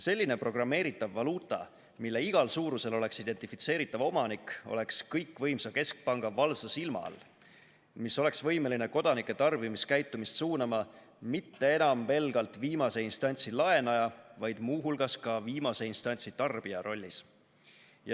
Selline programmeeritav valuuta, mille igal suurusel oleks identifitseeritav omanik, oleks kõikvõimsa keskpanga valvsa silma all, mis oleks võimeline kodanike tarbimiskäitumist suunama mitte enam pelgalt viimase instantsi laenaja, vaid muu hulgas ka viimase instantsi tarbija rollis.